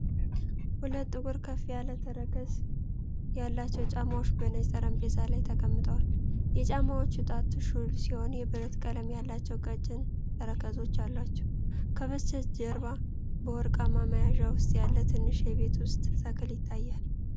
ሁለት ጥቁር ከፍ ያለ ተረከዝ ያላቸው ጫማዎች በነጭ ጠረጴዛ ላይ ተቀምጠዋል። የጫማዎቹ ጣት ሹል ሲሆን፤ የብረት ቀለም ያላቸው ቀጭን ተረከዞች አሏቸው። ከበስተጀርባ በወርቃማ መያዣ ውስጥ ያለ ትንሽ የቤት ውስጥ ተክል ይታያል።